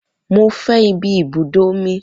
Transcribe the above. Mo fẹ́ ìbí ibùdó omi